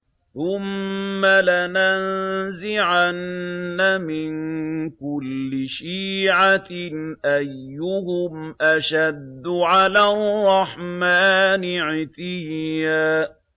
ثُمَّ لَنَنزِعَنَّ مِن كُلِّ شِيعَةٍ أَيُّهُمْ أَشَدُّ عَلَى الرَّحْمَٰنِ عِتِيًّا